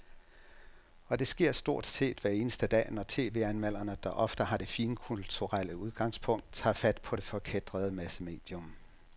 Og det sker stort set hver eneste dag, når tv-anmelderne, der ofte har det finkulturelle udgangspunkt, tager fat på det forkætrede massemedium.